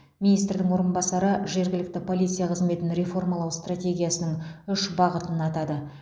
министрдің орынбасары жергілікті полиция қызметін реформалау стратегиясының ұш бағытын атады